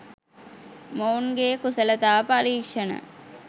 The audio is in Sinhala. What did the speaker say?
මොවුන්ගේ කුසලතා පරීක්‍ෂණ